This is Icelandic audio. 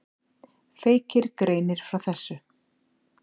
Feykir greinir frá þessu.